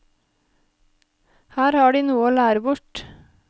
Her har de noe å lære bort.